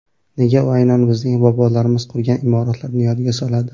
Nega u aynan bizning bobolarimiz qurgan imoratlarni yodga soladi?